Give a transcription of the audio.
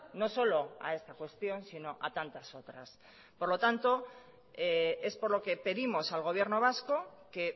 no solo a esta cuestión sino a tantas otras por lo tanto es por lo que pedimos al gobierno vasco que